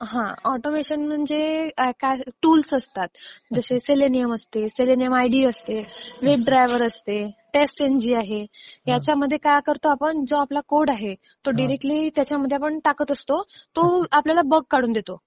हां ऑटोमेशन म्हणजे टूल्स असतात. जसे सेलेनियम असते, सेलेनियम आयडी असते, वेब ड्रायव्हर असते, टेस्ट इंजि आहे, ह्यांच्यामध्ये काय करतो आपण, जो आपला कोड आहे तो डायरेक्टली त्याच्यामध्ये आपण टाकत असतो. तो आपल्याला बग काढून देतो.